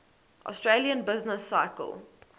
austrian business cycle